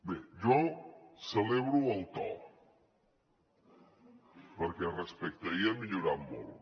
bé jo celebro el to perquè respecte a ahir ha millorat molt